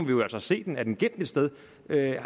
vi jo altså se den er den gemt et sted